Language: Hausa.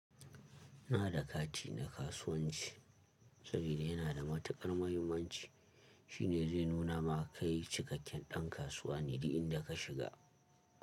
Ina da kati na kasuwanci sabida yana da matukar muhimmanci. Shi ne zai nuna ma kai cikakken ɗan kasuwa ne idan ka shiga.